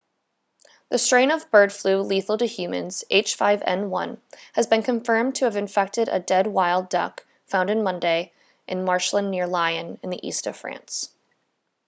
the strain of bird flu lethal to humans h5n1 has been confirmed to have infected a dead wild duck found on monday in marshland near lyon in the east of france